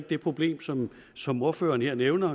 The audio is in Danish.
det problem som som ordføreren her nævner